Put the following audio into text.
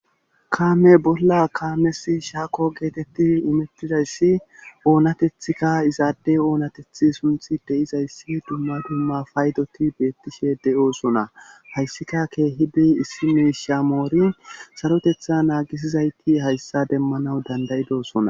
kaame bolla kaames shaako geetetti imettidayssi oonatethikka izaadde oonateth sunthi de7izayssi dumma dumma faydoti beettishe de7oosona hayssika keehidi issi miishamoori sarotetha naagisizayti hayssa demmanaw dandayidosona